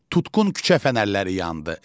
Tutqun küçə fənərləri yandı.